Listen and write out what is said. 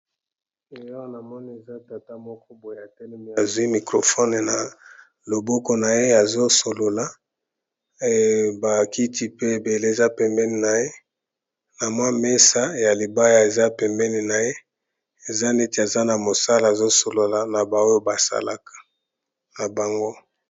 Eh Awa namoni eza tata moko boye atelemi azwi microfone na loboko na ye azo solola, ba kiti pe ebele eza pembeni na ye na mwa mesa ya libaya eza pembeni na ye eza neti aza na mosala azo solola na ba oyo basalaka na bango.